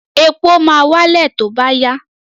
Epo máa wálẹ̀ tí ó bá yá.